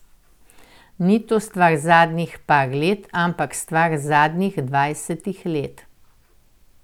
Ni to stvar zadnjih par let, ampak stvar zadnjih dvajsetih let.